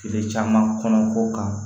Kile caman kɔnɔ ko kan